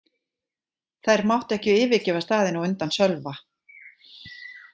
Þær máttu ekki yfirgefa staðinn á undan Sölva.